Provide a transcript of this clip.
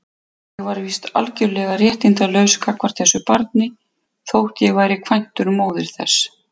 Ég var víst algjörlega réttindalaus gagnvart þessu barni, þótt ég væri kvæntur móður þess.